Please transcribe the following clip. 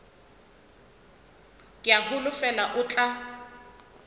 ke a holofela o tla